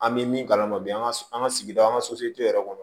An bɛ min kalama bi an ka an ka sigida an ka yɛrɛ kɔnɔ